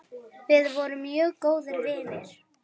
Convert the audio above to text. Við vorum mjög góðir vinir.